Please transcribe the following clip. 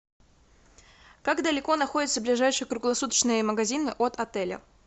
как далеко находится ближайший круглосуточный магазин от отеля